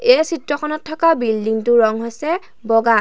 এই চিত্ৰখনত থকা বিল্ডিং টোৰ ৰং হৈছে বগা।